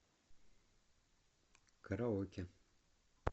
караоке